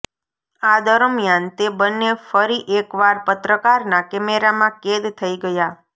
આ દરમિયાન તે બન્ને ફરી એકવાર પત્રકારના કેમેરામાં કેદ થઈ ગયા